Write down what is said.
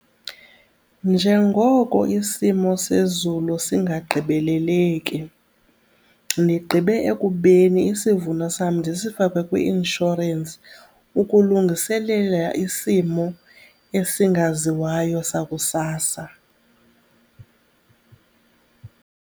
Njengoko isimo sezulu singagqibeleleki ndigqibe ekubeni isivuno sam ndisifake kwi-inshorensi ukulungiselela isimo esingaziwayo sakusasa.